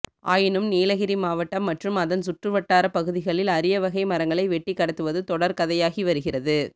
ஆயினும் நீலகிரி மாவட்டம் மற்றும் அதன் சுற்றுவட்டார பகுதிகளில் அரிய வகை மரங்களை வெட்டிக் கடத்துவது தொடர் கதையாகி வருகிறது